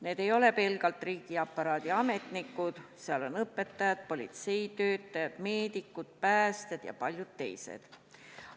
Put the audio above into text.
Need ei ole pelgalt riigiaparaadi ametnikud, seal on õpetajad, politseitöötajad, meedikud, päästjad ja paljud teised.